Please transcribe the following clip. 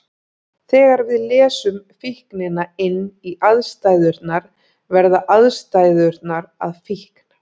Þegar við lesum fíknina inn í aðstæðurnar verða aðstæðurnar að fíkn.